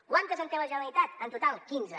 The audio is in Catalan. quantes en té la generalitat en total quinze